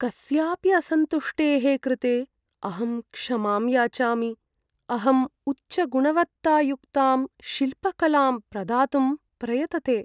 कस्यापि असन्तुष्टेः कृते अहं क्षमां याचामि, अहं उच्चगुणवत्तायुक्तां शिल्पकलां प्रदातुं प्रयतते।